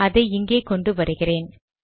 அதை இங்கே கொண்டு வருகிறேன்